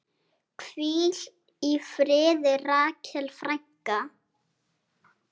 Hvíl í friði, Rakel frænka.